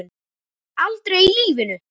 Aldrei í lífinu!